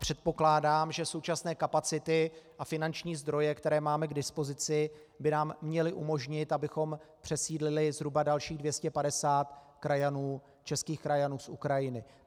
Předpokládám, že současné kapacity a finanční zdroje, které máme k dispozici, by nám měly umožnit, abychom přesídlili zhruba dalších 250 českých krajanů z Ukrajiny.